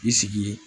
I sigi ye